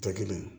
Tɛ kelen ye